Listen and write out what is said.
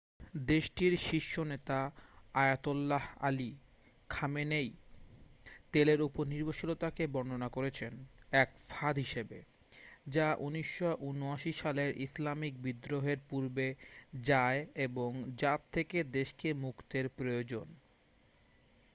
"দেশটির শীর্ষ নেতা আয়াতোল্লাহ আলি খামেনেই তেলের ওপর নির্ভরশীলতাকে বর্ননা করেছেন "এক ফাঁদ" হিসেবে যা ১৯৭৯ সালের ইসলামিক বিদ্রোহের পূর্বে যায় এবং যার থেকে দেশকে মুক্তের প্রয়োজন।